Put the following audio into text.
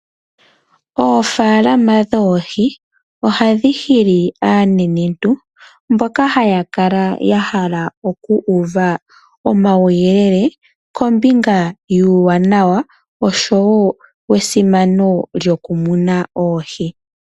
Oofaalama dhoohi ohadhi hili aanenentu mboka haya kala yahala okuuva omawuyelele kombinga yuuwanawa osho wo wesimano lyokumuna oohi.